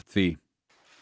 því